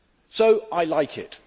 So I like it.